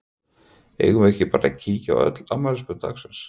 Eigum við ekki bara að kíkja á öll afmælisbörn dagsins?